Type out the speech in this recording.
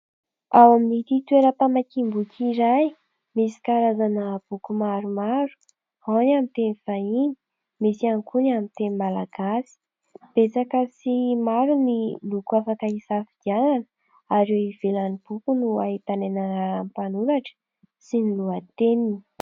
Ao amin'ity toeram-pamakiam-boky iray, misy karazana boky maromaro : ao ny amin'ny teny vahiny, misy ihany koa ny amin'ny teny malagasy. Betsaka sy maro ny loko afaka isafidianana, ary eo ivelan'ny boky no ahitana ny anaran'ny mpanoratra sy ny lohateniny.